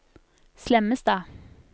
Slemmestad